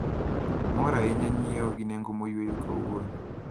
Amor ahinya nyiewo gi nengo moyweyo kawuono.